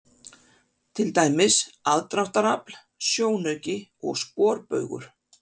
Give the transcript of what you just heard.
Til dæmis: aðdráttarafl, sjónauki og sporbaugur.